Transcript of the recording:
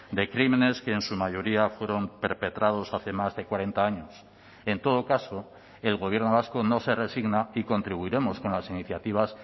de crímenes que en su mayoría fueron perpetrados hace más de cuarenta años en todo caso el gobierno vasco no se resigna y contribuiremos con las iniciativas